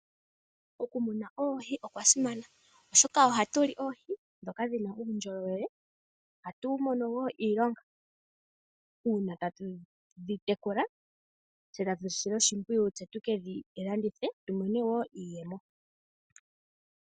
Okumuna oohi okwa simana, oshoka ohatu li oohi ndhoka dhi na uundjolowele. Ohatu mono wo iilonga uuna tatu dhi tekula tse tatu dhi sile oshimpwiyu tse tu ke dhi landithe tu mone wo iiyemo.